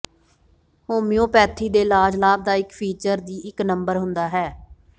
homoeopathy ਦੇ ਇਲਾਜ ਲਾਭਦਾਇਕ ਫੀਚਰ ਦੀ ਇੱਕ ਨੰਬਰ ਹੁੰਦਾ ਹੈ